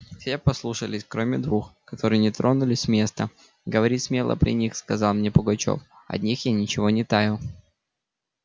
все послушались кроме двух которые не тронулись с места говори смело при них сказал мне пугачёв от них я ничего не таю